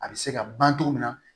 A bɛ se ka ban togo min na